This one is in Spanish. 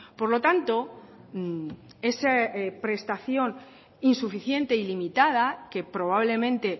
por lo tanto esa prestación insuficiente y limitada que probablemente